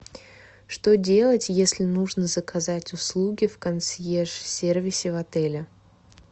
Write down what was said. что делать если нужно заказать услуги в консьерж сервисе в отеле